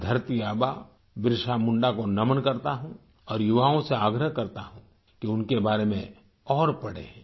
मैं धरती आबा बिरसा मुंडा को नमन करता हूं और युवाओं से आग्रह करता हूं कि उनके बारे में और पढ़ें